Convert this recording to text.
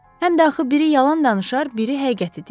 Həm də axı biri yalan danışar, biri həqiqəti deyər.